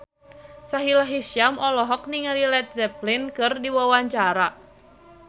Sahila Hisyam olohok ningali Led Zeppelin keur diwawancara